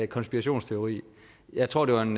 konspirationsteori jeg tror det var en